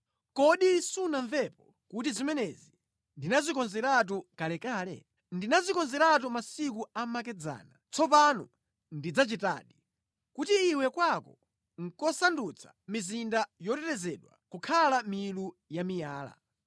“Kodi sunamvepo kuti zimenezi ndinazikonzeratu kalekale? Ndinazikonzeratu masiku amakedzana; tsopano ndazichitadi, kuti iwe kwako nʼkusandutsa mizinda yotetezedwa kukhala milu ya miyala.